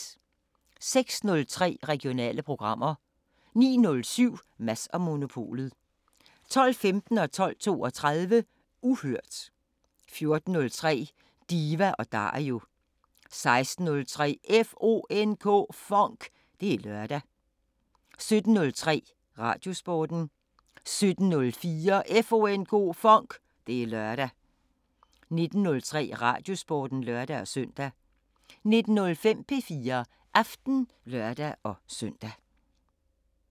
06:03: Regionale programmer 09:07: Mads & Monopolet 12:15: Uhørt 12:32: Uhørt 14:03: Diva & Dario 16:03: FONK! Det er lørdag 17:03: Radiosporten 17:04: FONK! Det er lørdag 19:03: Radiosporten (lør-søn) 19:05: P4 Aften (lør-søn)